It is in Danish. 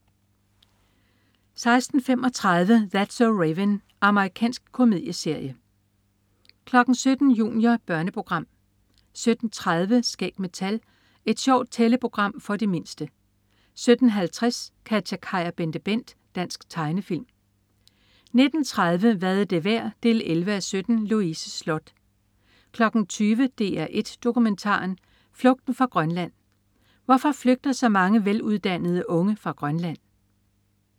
16.35 That's so Raven. Amerikansk komedieserie 17.00 Junior. Børneprogram 17.30 Skæg med tal. Et sjovt tælleprogram for de mindste 17.50 KatjaKaj og BenteBent. Dansk tegnefilm 19.30 Hvad er det værd? 11:17. Louise Sloth 20.00 DR1 Dokumentaren. Flugten fra Grønland. Hvorfor flygter så mange veluddannede unge fra Grønland?